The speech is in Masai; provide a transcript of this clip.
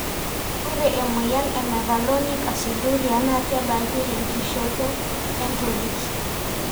Ore emeoyian e mevalonic acidurial na keebaki tenkishoto entolit.